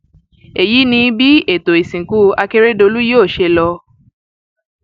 èyí ni bí ètò ìsìnkú akérèdọlù yóò ṣe lọ